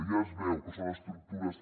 ja es veu que són estructures